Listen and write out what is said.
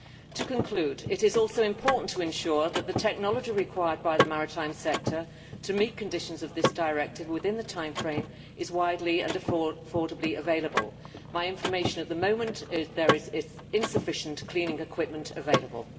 To conclude, it is also important to ensure that the technology required by the maritime sector to meet conditions of this directive within the timeframe is widely and affordably available. My information at the moment is that there is insufficient cleaning equipment available.